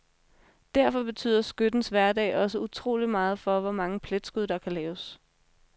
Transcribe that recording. Derfor betyder skyttens hverdag også utroligt meget for, hvor mange pletskud der kan laves.